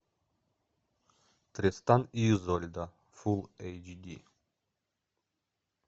тристан и изольда фул эйч ди